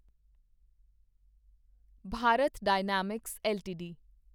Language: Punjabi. Bharat Dynamics LTD